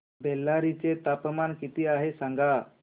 बेल्लारी चे तापमान किती आहे सांगा